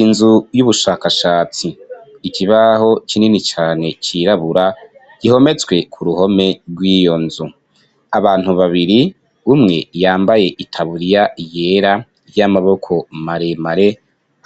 Inzu y'ubushakashatsi, ikibaho kinini cane cirabura gihometswe kuruhome gw'iyo nzu , abantu babiri, umwe yambaye itaburiya yera y'amaboko maremare